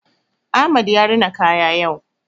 Ahmad ya rina kaya yau.